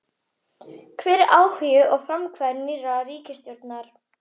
Hvar er áhugi og frumkvæði nýrrar ríkisstjórnar?